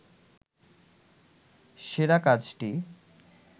সেরা কাজটি